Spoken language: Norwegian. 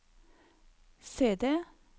CD